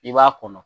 I b'a kɔnɔ